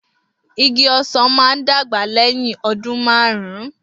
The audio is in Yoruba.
Igi osan maà dagba lẹhin ọdun marun.